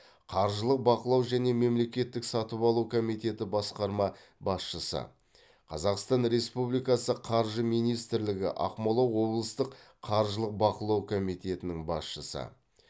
қаржылық бақылау және мемлекеттік сатып алу комитеті басқарма басшысы қазақстан республикасы қаржы министрлігі ақмола облыстық қаржылық бақылау комитетінің басшысы